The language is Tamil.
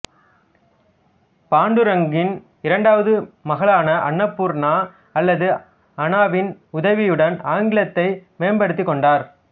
பாண்டூராங்கின் இரண்டாவது மகளான அன்னபூர்ணா அல்லது அனாவின் உதவியுடன் ஆங்கிலத்தை மேம்படுத்திக் கொண்டார்